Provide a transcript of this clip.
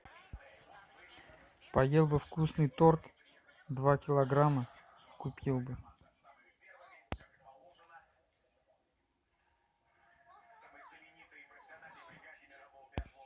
поел бы вкусный торт два килограмма купил бы